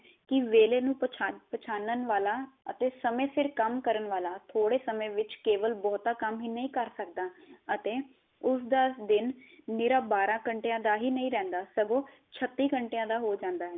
ਕੀ ਵੇਲੇ ਨੂ ਪਛਾਨਣ ਵਾਲਾ ਸਮੇ ਸਿਰ ਕੰਮ ਕਰਨ ਵਾਲਾ ਥੋੜੇ ਸਮੇ ਵਿਚ ਕੇਵਲ ਬਹੁਤਾ ਕੰਮ ਹੀ ਨਹੀ ਕਰ ਸਕਦਾ ਅਤੇ ਉਸ ਦਾ ਦਿਨ ਨਿਰਾ ਬਾਰਾ ਘੰਟਿਆ ਦਾ ਨੀ ਰਹੰਦਾ ਸਗੋ ਛੱਤੀ ਘੰਟਿਆ ਦਾ ਹੋ ਜਾਂਦਾ ਹੈ